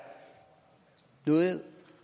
noget